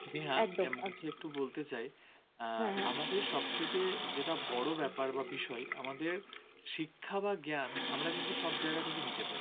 সব থেকে বড় ব্যাপার বা বিষয়, আমাদের শিক্ষা বা জ্ঞান আমরা কিন্তু সব জায়গা থেকে নিতে পারি